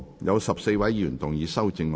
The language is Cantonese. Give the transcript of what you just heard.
有14位議員要動議修正案。